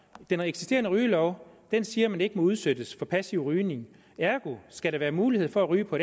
den eksisterende rygelov siger at man ikke må udsættes for passiv rygning ergo skal være mulighed for at ryge på